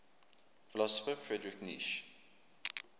philosopher friedrich nietzsche